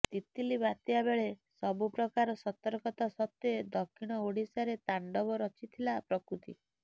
ତିତ୍ଲି ବାତ୍ୟା ବେଳେ ସବୁ ପ୍ରକାର ସତର୍କତା ସତ୍ତ୍ୱେ ଦକ୍ଷିଣ ଓଡ଼ିଶାରେ ତାଣ୍ଡବ ରଚିଥିଲା ପ୍ରକୃତି